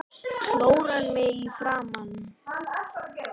Klórar mig í framan.